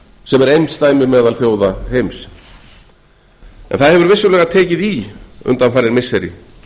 sem er einsdæmi meðal þjóða heims en það hefur vissulega tekið í undanfarin missiri